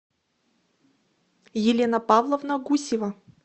елена павловна гусева